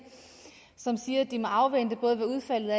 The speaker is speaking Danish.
som siger at de må afvente både hvad udfaldet